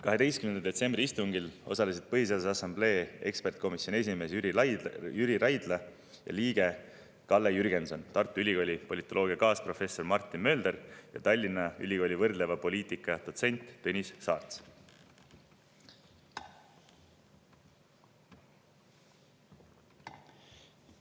12. detsembri istungil osalesid Põhiseaduse Assamblee ekspertkomisjoni esimees Jüri Raidla ja liige Kalle Jürgenson, Tartu Ülikooli politoloogia kaasprofessor Martin Mölder ja Tallinna Ülikooli võrdleva poliitika dotsent Tõnis Saarts.